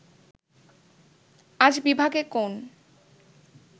আজ বিভাগে কোন